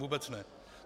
Vůbec ne.